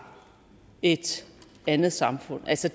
et andet samfund altså